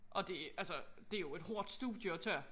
Og det altså det jo et hårdt studie at tage